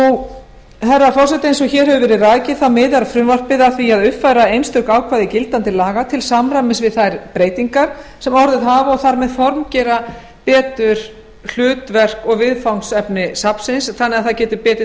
starfseminni herra forseti eins og hér hefur verið rakið miðar frumvarpið að því að uppfæra einstök ákvæði gildandi laga til samræmis við þær breytingar sem orðið hafa og þar með formgera betur hlutverk og viðfangsefni safnsins þannig að það geti betur